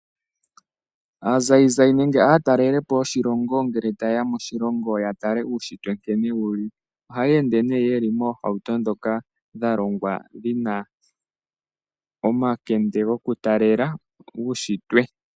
Aatalelipo yoshilongo ngele ta ye ya moshilongo ya tale uushitwe nkene wu li ohaya ende nee ye li moohamuto ndhoka dha longwa dhi na omakende gokutalela uushitwe.